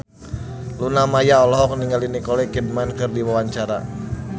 Luna Maya olohok ningali Nicole Kidman keur diwawancara